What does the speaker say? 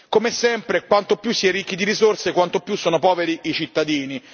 Come sempre, quanto più si è ricchi di risorse, tanto più sono poveri i cittadini.